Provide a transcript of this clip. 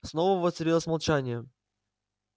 снова воцарилось молчание